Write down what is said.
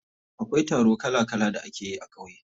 Akwai taro kala kala da ake yi a ƙauye.